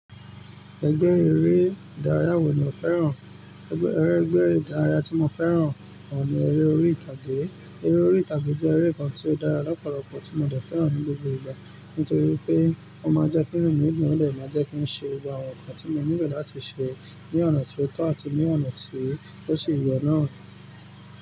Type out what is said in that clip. Ẹgbẹ́ eré ìdárayá wò ní o fẹ́ràn? Ẹgbẹ́, ẹgbẹ́ eré ìdárayá tí mo fẹ́ràn ohun ní eré orí ìtàgé. Eré orí ìtàgé jẹ́ eré kan tí ó dára lọ́pọ̀lọpọ̀ tí mo dẹ̀ fẹ́ràn ní gbogbo ìgbà. Nítorí pé ó máa ń jẹ́ kí nu mi dun, ó de máa ń jẹ́ kí ń ṣe àwọn nǹkan tí mo nílò láti ṣe, ní ọ̀nà tí ó tọ́ àti ní ọ̀nà tí ó ṣe yọ naa.